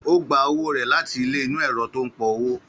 Ó gba owó rẹ̀ láti ilé inú ẹ̀rọ tó ń pọ owó